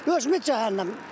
Özümüz zəhənnəm.